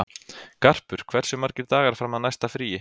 Garpur, hversu margir dagar fram að næsta fríi?